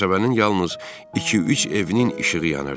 Qəsəbənin yalnız iki-üç evinin işığı yanırdı.